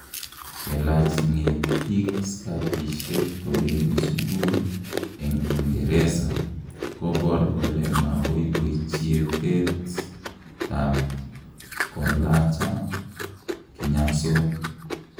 Kelaach ng'etiik skatishek kobendii suguul eng uingereza koboor kole mababoichieteet ap kolaacha kinyasook.